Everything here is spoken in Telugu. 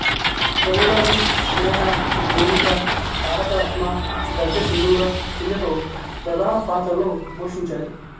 రవిబాబు స్నేహ భూమిక తారకరత్న గద్దె సింధూర ఇందులో ప్రధాన పాత్రలు పోషించారు